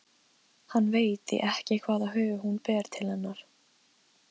Hann veit því ekki hvaða hug hún ber til hennar.